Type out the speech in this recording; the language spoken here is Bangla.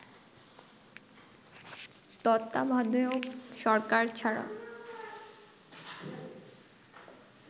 তত্ত্বাবধায়ক সরকার ছাড়া